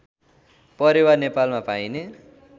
परेवा नेपालमा पाइने